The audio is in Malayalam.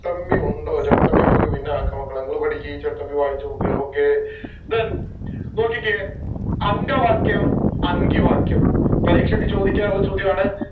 ചട്ടമ്പി ഉണ്ടോ ചട്ടമ്പി നമ്മക്ക് പിന്നെ ആക്ക മക്കളെ ഇങ്ങള് പഠിക്ക് ചട്ടമ്പി വായിച്ചോക്ക് okay then നോക്കിക്കേ അങ്കവാക്യം അങ്കിവാക്യം പരീക്ഷക്ക് ചോദിക്കാറുള്ള ചോദ്യം ആണേ